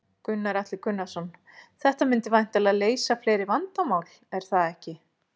Gunnar Atli Gunnarsson: Þetta myndi væntanlega leysa fleiri vandamál, er það ekki?